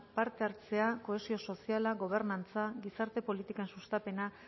parte hartzea kohesio soziala gobernantza gizarte politikan sustapena